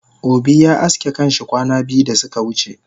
Obi ya aske kanshi kwana biyu dasuka wuce